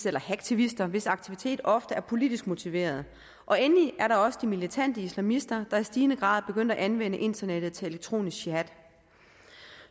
eller hacktivister hvis aktiviteter ofte er politisk motiverede og endelig er der også de militante islamister der i stigende grad er begyndt at anvende internettet til elektronisk jihad